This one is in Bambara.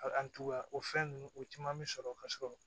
A o fɛn ninnu o caman bɛ sɔrɔ ka sɔrɔ